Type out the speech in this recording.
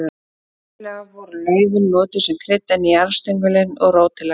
Venjulega voru laufin notuð sem krydd en jarðstöngull og rót til lækninga.